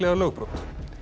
lögbrot